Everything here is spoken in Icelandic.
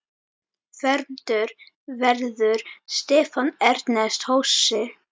Fermdur verður Stefán Ernest Hosi.